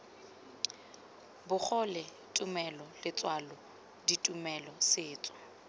bogole tumelo letswalo ditumelo setso